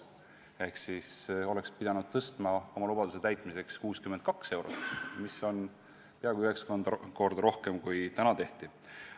Selle lubaduse täitmiseks oleks pidanud pensioni tõstma 62 eurot, mis on peaaegu üheksa korda rohkem kui see, mida täna tehakse.